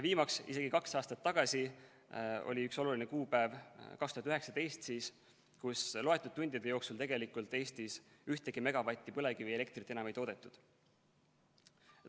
Viimaks, isegi kaks aastat tagasi, aastal 2019 oli üks oluline kuupäev, kus loetud tundide jooksul Eestis ühtegi megavatti põlevkivielektrit enam ei toodetud.